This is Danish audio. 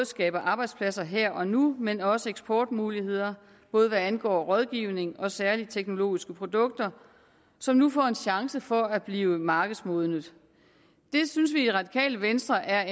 skaber arbejdspladser her og nu men også eksportmuligheder både hvad angår rådgivning og særlige teknologiske produkter som nu får en chance for at blive markedsmodnet det synes vi i radikale venstre er